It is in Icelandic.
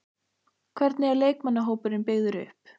Hvernig er leikmannahópurinn byggður upp?